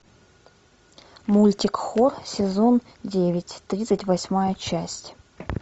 мультик хор сезон девять тридцать восьмая часть